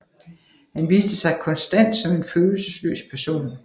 Han viste sig konstant som en følelsesløs person